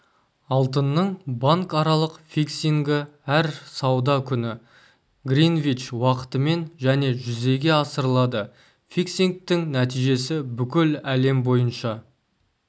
алтынның банкаралық фиксингі әр сауда күні гринвич уақытымен және жүзеге асырылады фиксингтің нәтижесі бүкіл әлем бойынша